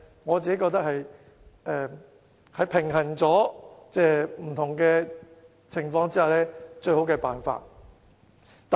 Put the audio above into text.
我覺得這是平衡各個因素後的最好辦法。